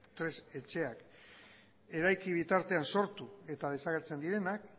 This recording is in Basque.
tresna etxeak eraiki bitartean sortu eta desagertzen direnak